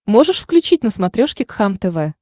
можешь включить на смотрешке кхлм тв